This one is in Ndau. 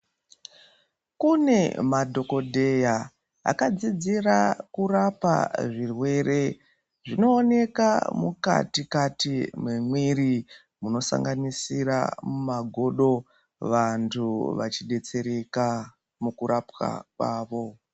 Kune madhokodheya akadzidzira kurapa zvinooneka mukati Kati mwemiri munosanganisira mumagodo. Vantu vachidetsereka mukurapwa kwavo.